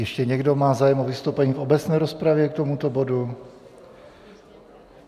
Ještě někdo má zájem o vystoupení k obecné rozpravě k tomuto bodu?